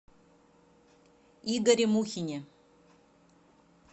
игоре мухине